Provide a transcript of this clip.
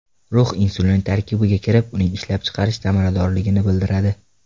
Rux insulin tarkibiga kirib, uning ishlab chiqarish samaradorligini bildiradi.